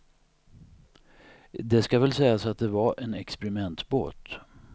Det ska väl sägas att det var en experimentbåt.